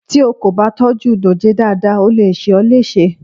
Tí o kò bá tọ́jú dòjé dáadáa, ó le ṣe ó léṣe.